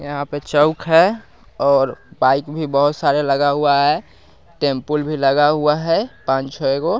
यहां पे चउक हैं और बाइक भी बहुत सारे लगा हुआ हैं टेम्पुल भी लगा हुआ हैं पान छ गो--